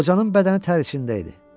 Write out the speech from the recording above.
Qocanın bədəni tər içində idi.